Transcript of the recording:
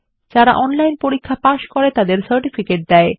যারা অনলাইন পরীক্ষা পাস করে তাদের সার্টিফিকেট দেয়